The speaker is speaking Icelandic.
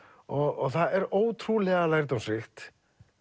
og það er ótrúlega lærdómsríkt